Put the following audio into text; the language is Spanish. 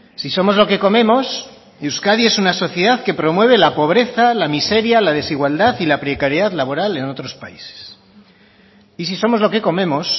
si somos lo que comemos euskadi es una sociedad que promueve la pobreza la miseria la desigualdad y la precariedad laboral en otros países y si somos lo que comemos